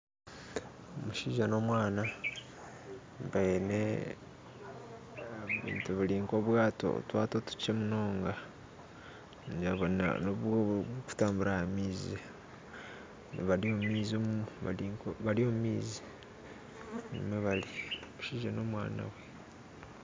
Omushaija n'omwana baine ebintu biri nk'otwato otukye munonga oburikutambura aha maizi bari omu maizi omushaija na omwana niho bari.